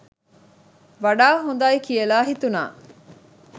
වඩා හොඳයි කියලා හිතුණා.